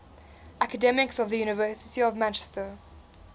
academics of the university of manchester